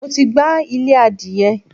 Mo ti gbá ilé adìyẹ.